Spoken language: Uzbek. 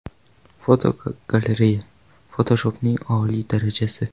Fotogalereya: Fotoshopning oliy darajasi.